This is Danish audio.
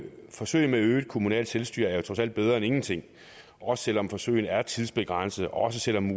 forsøg med øget kommunalt selvstyre er jo trods alt bedre end ingenting også selv om forsøget er tidsbegrænset og også selv om